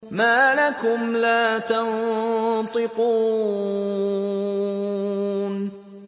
مَا لَكُمْ لَا تَنطِقُونَ